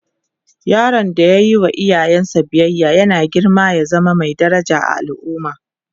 yaron da ya Yi wa iyaye biyaya yana girma ya zama Mai daraja a al'umma